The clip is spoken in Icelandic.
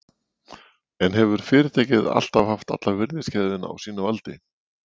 En hefur fyrirtækið alltaf haft alla virðiskeðjuna á sínu valdi?